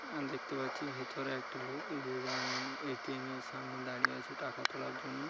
দেখতে পাচ্ছি ভেতরে একটি লোক যে আ এ.টি.এম. এর সামনে দাঁড়িয়ে আছে টাকা তোলার জন্য--